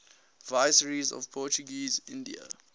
viceroys of portuguese india